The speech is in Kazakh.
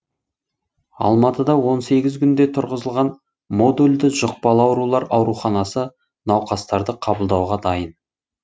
алматыда он сегіз күнде тұрғызылған модульді жұқпалы аурулар ауруханасы науқастарды қабылдауға дайын